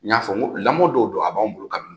N y'a n ko lamɔ dɔw don, a b'anw bolo ka